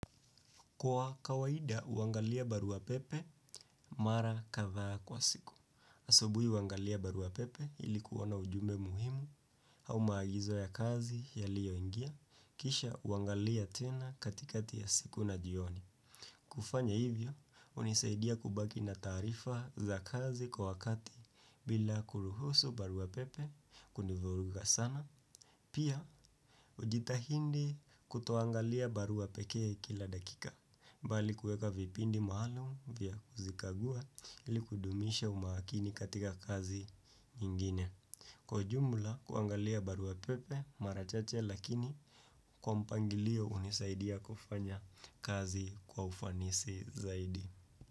Kwa kawaida, huangalia barua pepe mara kadhaa kwa siku. Asubuhi huangalia barua pepe ili kuona ujumbe muhimu au maagizo ya kazi yaliyoingia, kisha huangalia tena katikati ya siku na jioni. Kufanya hivyo, hunisaidia kubaki na taarifa za kazi kwa wakati bila kuruhusu barua pepe kunivuruga sana. Pia hujitahidi kutoangalia barua pekee kila dakika. Mbali kueka vipindi maalum vya kuzikagua ili kudumisha umakini katika kazi nyingine. Kwa ujumla kuangalia barua pepe mara chache lakini kwa mpangilio hunisaidia kufanya kazi kwa ufanisi zaidi.